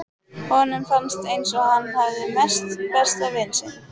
Honum fannst eins og hann hefði misst besta vin sinn.